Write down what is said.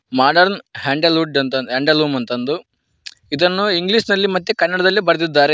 Modern handle wood handloom ಎಂದು ಇದನ್ನು English ಮತ್ತು ಕನ್ನಡ ದಲ್ಲಿ ಬರೆದಿದ್ದಾರೆ.